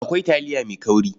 Akwai taliya mai kauri.